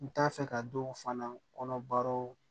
N t'a fɛ ka dɔw fana kɔnɔbaraw